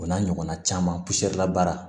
O n'a ɲɔgɔnna caman la baara